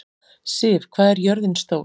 Siv, hvað er jörðin stór?